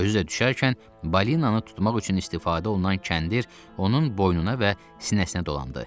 Özü də düşərkən balinanı tutmaq üçün istifadə olunan kəndir onun boynuna və sinəsinə dolandı.